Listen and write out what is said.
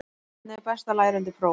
Hvernig er best að læra undir próf?